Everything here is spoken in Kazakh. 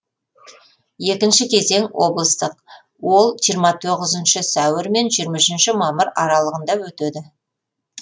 екінші кезең облыстық ол жиырма тоғызыншы сәуір мен жиырма үшінші мамыр аралығанда өтеді